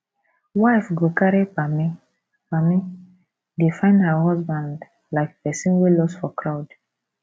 wife go carry pammy pammy dey find her husband like person wey loss for crowd